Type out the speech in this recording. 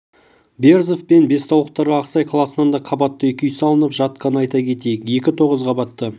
берзов пен бестаулықтарға ақсай қаласынан да қабатты екі үй салынып жатқанын айта кетейік екі тоғыз қабатты